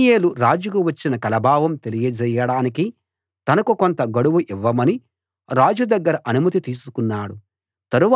దానియేలు రాజుకు వచ్చిన కల భావం తెలియజేయడానికి తనకు కొంత గడువు ఇవ్వమని రాజు దగ్గర అనుమతి తీసుకున్నాడు